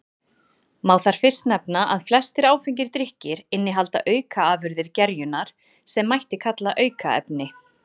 Má þar fyrst nefna að flestir áfengir drykkir innihalda aukaafurðir gerjunar sem mætti kalla aukaefni.